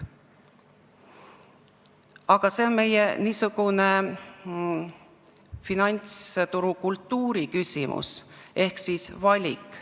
Aga see on finantsturu kultuuri küsimus ehk valik.